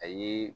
Ayi